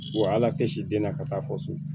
Wa ala tɛ siden na ka taa fɔ so